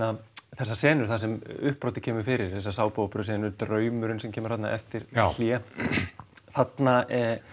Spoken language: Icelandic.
þessar senur þar sem uppbrotið kemur fyrir draumurinn sem kemur þarna eftir hlé þarna